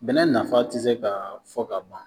Bɛnɛ nafa tɛ se ka fɔ ka ban